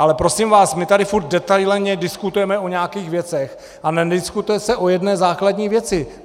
Ale prosím vás, my tady furt detailně diskutujeme o nějakých věcech, ale nediskutuje se o jedné základní věci.